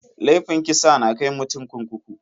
Laifin kisa na kai mutum kurkuku.